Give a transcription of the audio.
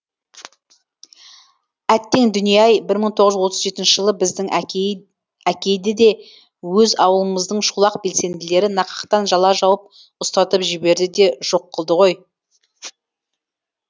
әттең дүние ай бір мың тоғыз жүз отыз жетінші жылы біздің әкейді де өз ауылымыздың шолақ белсенділері нақақтан жала жауып ұстатып жіберді де жоқ қылды ғой